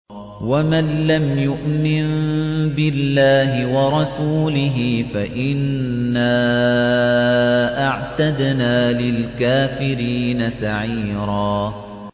وَمَن لَّمْ يُؤْمِن بِاللَّهِ وَرَسُولِهِ فَإِنَّا أَعْتَدْنَا لِلْكَافِرِينَ سَعِيرًا